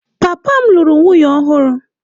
Papa m lụrụ nwunye ọhụrụ.